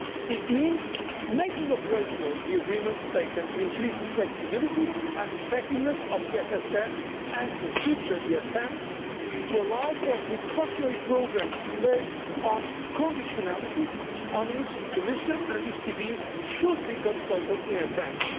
It means making operational the agreements taken to increase the flexibility and effectiveness of the EFSF and the future ESM, to allow for precautionary programmes based on conditionality, on which the Commission and the ECB should be consulted in advance.